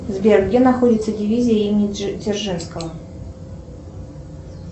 сбер где находится дивизия имени дзержинского